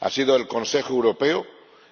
Ha sido el Consejo Europeo